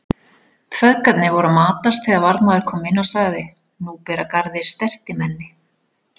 Feðgarnir voru að matast þegar varðmaður kom inn og sagði:-Nú ber að garði stertimenni.